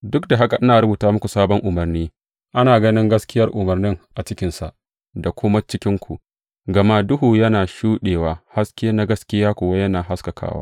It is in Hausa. Duk da haka ina rubuta muku sabon umarni; ana ganin gaskiyar umarnin a cikinsa da kuma cikinku, gama duhu yana shuɗewa, haske na gaskiya kuwa yana haskakawa.